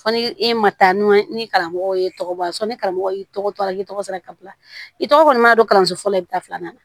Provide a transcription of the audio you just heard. Fɔ ni e ma taa n'o ye ni karamɔgɔw ye tɔgɔ bɔ fɔ ni karamɔgɔ y'i tɔgɔ to a la k'i tɔgɔ sɛbɛn ka bila i tɔgɔ kɔni ma don kalanso fɔlɔ la i bɛ taa filanan na